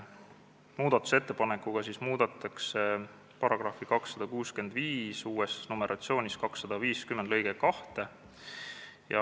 Muudatusettepanekuga muudetakse § 265 lõiget 2.